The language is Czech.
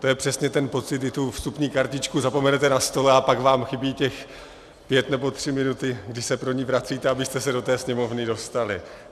To je přesně ten pocit, kdy tu vstupní kartičku zapomenete na stole a pak vám chybí těch pět nebo tři minuty, kdy se pro ni vracíte, abyste se do té sněmovny dostali.